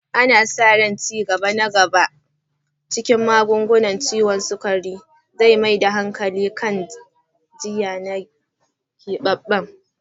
Ana sa ran ci gaba na gaba a cikin magungunan ciwon sukari zai mai da hankali kan jinya na keɓaɓɓen